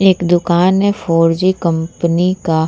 एक दुकान है फोर जी कंपनी का।